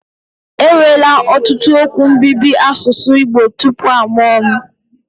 Enwela ọtụtụ okwu mbibi n'asụsụ Igbo tupu a mụo m.